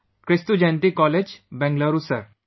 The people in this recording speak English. Kristujayanti College, Bengaluru Sir